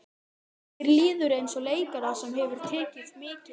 Og mér líður eins og leikara sem hefur tekið mikil